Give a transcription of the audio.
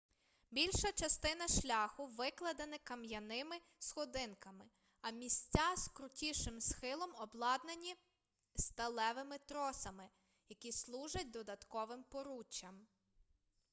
більша частина шляху викладена кам'яними сходинками а місця з крутішим схилом обладнані сталевими тросами які служать додатковим поруччям